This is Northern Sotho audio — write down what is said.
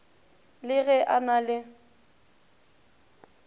le ge a na le